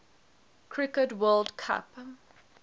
cricket world cup